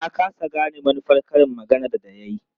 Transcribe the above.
Na ƙasa gane manufar karin maganar da ya yi.